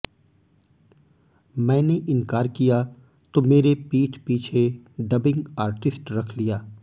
मैंने इनकार किया तो मेरे पीठ पीछे डबिंग आर्टिस्ट रख लिया